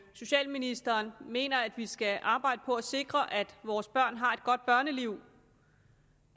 socialministeren mener at vi skal arbejde på at sikre at vores børn har et godt børneliv